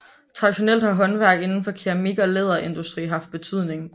Traditionelt har håndværk indenfor keramik og læderindustri haft betydning